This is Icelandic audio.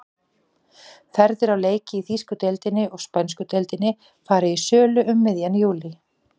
Ferðir á leiki í þýsku deildinni og spænsku deildinni fara í sölu um miðjan júlí.